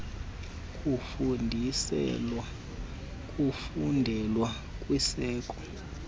kufundiselwa kufundelwe kwizikolo